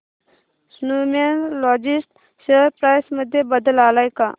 Snowman Logistics share price मध्ये बदल आलाय का